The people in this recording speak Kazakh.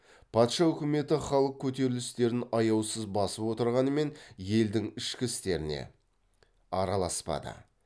патша өкіметі халық көтерілістерін аяусыз басып отырғанымен елдің ішкі істеріне араласпады